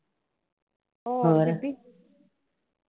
ਹੋਰ